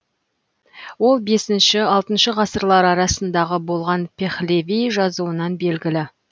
ол бесінші алтыншы ғасырлар арасындағы болған пехлеви жазуынан белгілі